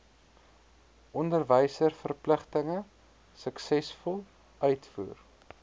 onderwysverpligtinge suksesvol uitvoer